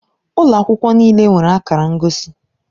Ụlọ akwụkwọ niile nwere akara ngosi